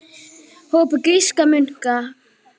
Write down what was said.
hópi grískra munka.